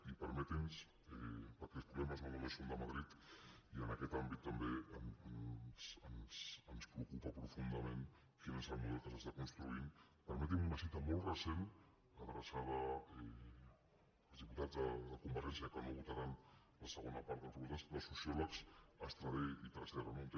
i perquè els problemes no només són de madrid i en aquest àmbit també ens preocupa profundament quin és el model que s’està construint permetin me una cita molt recent adreçada als diputats de convergència que no votaran la segona part de les propostes dels sociòlegs estradé i tresserras